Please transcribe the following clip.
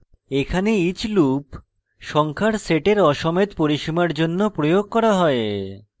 এখানে each loop সংখ্যার সেটের aসমেত পরিসীমার জন্য প্রয়োগ করা হয়